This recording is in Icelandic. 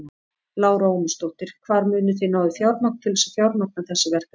Lára Ómarsdóttir: Hvar munið þið ná í fjármagn til þess að fjármagna þessi verkefni?